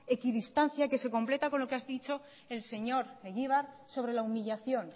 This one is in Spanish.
equidistancia que se completa con lo que ha dicho el señor egibar sobre la humillación